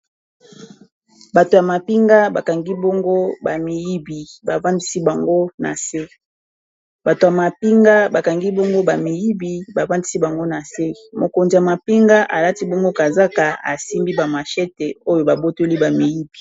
Bato ya mapinga ba kangi bongo ba miyibi ba vandisi bango na se mokonzi ya mapinga alati bongo kazaka asimbi ba mashete oyo ba botoli ba miyibi.